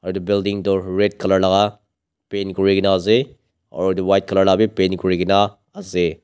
itu building toh red color laka paint kurikena ase aro itu white color la wi paint kurikena ase.